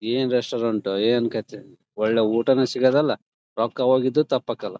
ಏನ್ ರೆಸ್ಟೋರೆಂಟ್ ಏನ್ ಕಥೆ . ಒಳ್ಳೆ ಊಟನು ಸಿಗದಿಲ್ಲ ರೊಕ್ಕ ಹೋಗಿದ್ದು ತಪ್ಪಕಲ್ಲ.